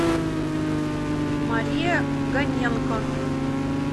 мария гоненко